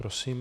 Prosím.